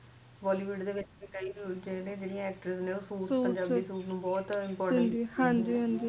bollywood ਚ ਵੀ ਕਈ ਜੀਦਾ actoress ਨੇ ਜੋ ਪੰਜਾਬੀ ਸੂਟ ਨੂੰ ਬਹੁਤ ਜ਼ਿਆਦਾ importance